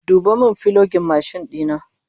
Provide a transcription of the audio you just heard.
Duba min fulogin mashin dina!